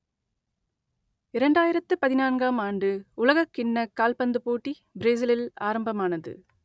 இரண்டாயிரத்து பதினான்காம் ஆண்டு உலகக் கிண்ணக் கால்பந்துப் போட்டி பிரேசிலில் ஆரம்பமானது